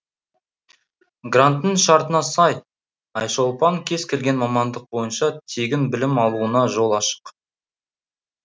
гранттың шартына сай айшолпан кез келген мамандық бойынша тегін білім алуына жол ашық